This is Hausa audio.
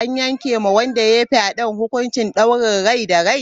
An yanke wa wanda ya yi fyaden hukuncin daurin rai da rai?